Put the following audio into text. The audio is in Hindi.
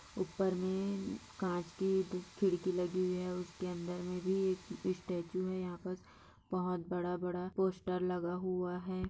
उपर मे कांच की खिड़की लगी हुई है और उसके अंदर मे भी एक स्टेचू हैं यहा पर बहोत बड़ा-बड़ा पोस्टर लगा हुआ है।